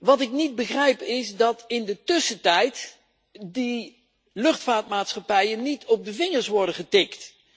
Wat ik niet begrijp, is dat in de tussentijd die luchtvaartmaatschappijen niet op de vingers worden getikt.